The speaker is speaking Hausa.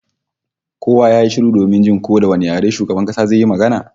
Kowa ya yi shiru domin jin ko da wane yare shugaban kasa zai yi magana